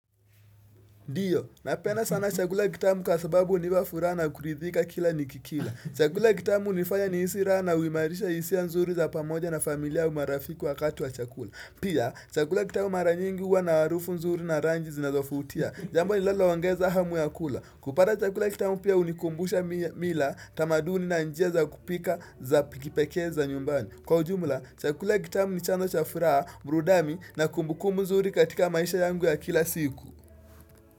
Ndio, napenda sana chakula kitamu kwa sababu niwa furaha na kuridhika kila nikikila. Chakula kitamu nifanya nihisi raha na huimarisha hisia nzuri za pamoja na familia au marafiki wakati wa chakula. Pia, chakula kitamu mara nyingi huwa na harufu nzuri na rangi zinazofutia. Jambo linalongeza hamu ya kula. Kupata chakula kitamu pia hunikumbusha mi mila tamaduni na njia kupika za pikipekee za nyumbani. Kwa ujumla, chakula kitamu ni chanzo cha furaha, burudami na kumbukumbu nzuri katika maisha yangu ya kila siku.